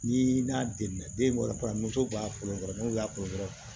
Ni n'a denna den wolola b'a foronto sɔrɔ n'o y'a kɔrɔ dɔrɔn